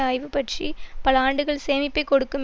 ஆய்வு பற்றி பல ஆண்டுகள் சேமிப்பை கொடுக்கும்